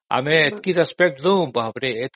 ଆମେ ଏତିକି respect ଦଉ ବାବରେ